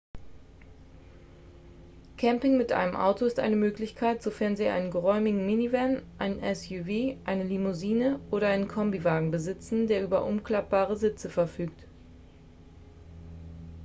camping mit einem auto ist eine möglichkeit sofern sie einen geräumigen minivan ein suv eine limousine oder einen kombiwagen besitzen der über umklappbare sitze verfügt